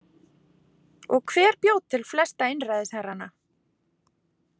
Og hver bjó til flesta einræðisherrana?